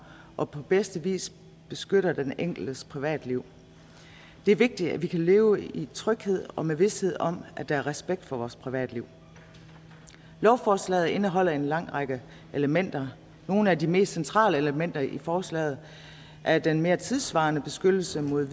og på bedste vis beskytter den enkeltes privatliv det er vigtigt at vi kan leve i tryghed og med vished om at der er respekt for vores privatliv lovforslaget indeholder en lang række elementer nogle af de mest centrale elementer i forslaget er den mere tidssvarende beskyttelse mod